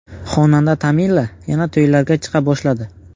Xonanda Tamila yana to‘ylarga chiqa boshladi .